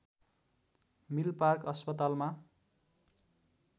Milpark अस्पतालमा